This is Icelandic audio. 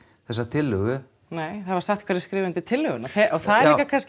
þessa tillögu nei það var sagt hverjir hefðu skrifað undir tillöguna og það er kannski